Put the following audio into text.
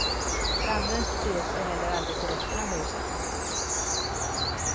Branden spred sig heller aldrig till resten av huset.